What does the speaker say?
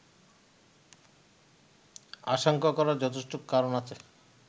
আশঙ্কা করার যথেষ্ট কারণ আছে